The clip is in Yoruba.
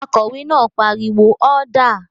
Akòwé náà pariwo "ọ́dà!"